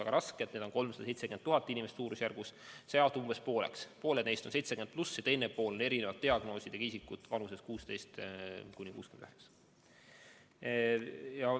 Neid on suurusjärgus 370 000 inimest, kellest umbes pooled on 70+ vanuses ja teine pool on erinevate diagnoosidega isikud vanuses 16–69.